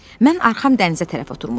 Mən arxam dənizə tərəf oturmuşdum.